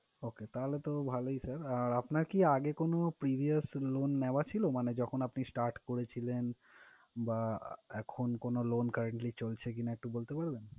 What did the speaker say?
Okay, তাহলে তো ভালোই sir । আর আপনার কি আগে কোনো previous loan নেওয়া ছিলো, মানে যখন আপনি start করেছিলেন বা এখন কোনো loan currently চলছে কিনা একটু বলতে পারবেন?